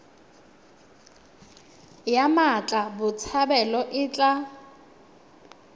ya mmatla botshabelo e tla